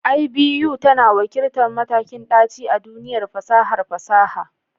IBU tana wakiltar matakin ɗaci a duniyar fasahar fasaha.